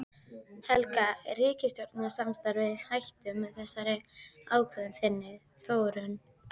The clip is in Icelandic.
Helga: Er ríkisstjórnarsamstarfið í hættu með þessari ákvörðun þinni Þórunn?